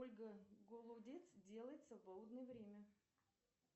ольга голодец делает в свободное время